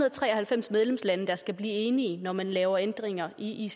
og tre og halvfems medlemslande der skal blive enige når man laver ændringer i